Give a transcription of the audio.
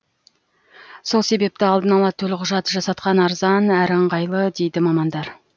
сол себепті алдын ала төлқұжат жасатқан арзан әрі ыңғайлы дейді мамандар